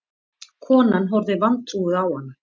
Konan horfði vantrúuð á hana.